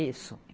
Isso.